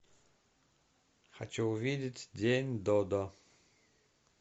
хочу увидеть день додо